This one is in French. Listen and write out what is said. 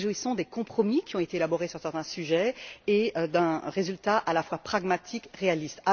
Nous nous réjouissons des compromis qui ont été élaborés sur certains sujets et d'un résultat à la fois pragmatique et réaliste.